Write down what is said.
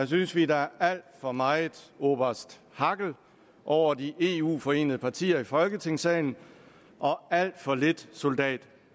synes vi at der er alt for meget oberst hackel over de eu forenede partier i folketingssalen og alt for lidt soldat